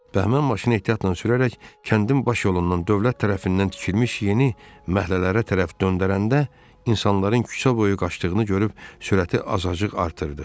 Bəhmən maşını ehtiyatla sürərək kəndin baş yolundan dövlət tərəfindən tikilmiş yeni məhəllələrə tərəf döndərəndə, insanların küçə boyu qaçdığını görüb sürəti azacıq artırdı.